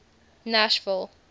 nashville